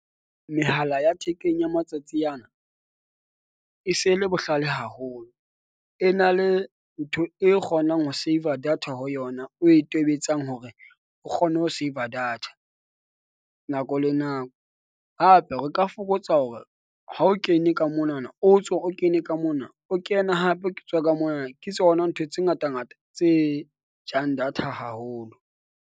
Mehala ya thekeng ya matsatsi ana e se e le bohlale haholo, e na le ntho e kgonang ho save-a data ho yona o e tobetsang hore o kgone ho save-a data, nako le nako. Hape ho ka fokotsa hore ha o kene ka mona na o tswe o kene ka mona, o kene hape ke tswe ka mona. Ke tsona ntho tse ngata ngata tse jang data haholo.